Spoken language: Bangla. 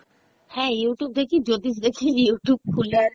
হ্যাঁ Youtube দেখি জ্যোতিষ দেখি Youtube খুলে